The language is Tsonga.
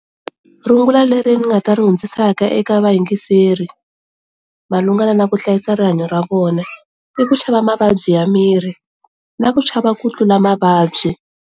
Rungula leri nga ta ri dyondzisaka eka va yingiseri na ku hlayisa rihanyo ra vona i ku chava mavabyi ya miri na ku chava ku tlula mavabyi.